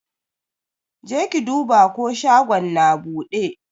Jeki duba ko shagon na buɗe?